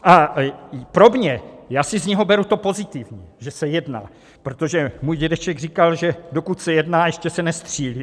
A pro mě... já si z něho beru to pozitivní - že se jedná, protože můj dědeček říkal, že dokud se jedná, ještě se nestřílí.